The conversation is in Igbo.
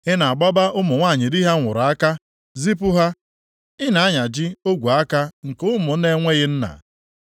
Ị na-agbaba ụmụ nwanyị di ha nwụrụ aka, zipụ ha, Ị na-anyaji ogwe aka nke ụmụ na-enweghị nna.